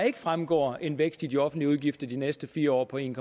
ikke fremgår en vækst i de offentlige udgifter de næste fire år på en